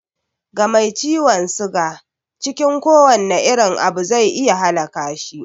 Ga mai ciwon suga, cikin kowane irin abu zai iya halaka shi